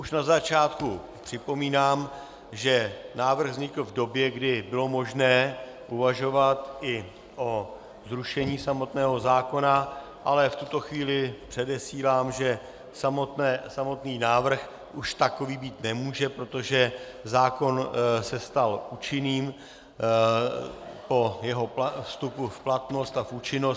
Už na začátku připomínám, že návrh vznikl v době, kdy bylo možné uvažovat i o zrušení samotného zákona, ale v tuto chvíli předesílám, že samotný návrh už takový být nemůže, protože zákon se stal účinným po jeho vstupu v platnost a v účinnost.